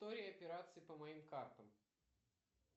история операций по моим картам